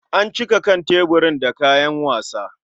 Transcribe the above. An cika kan tebirin da kayan sawa.